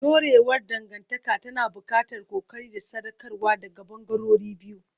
Dorewar dangantaka tana buƙatar ƙoƙari da sadaukarwa daga ɓangarorin biyu.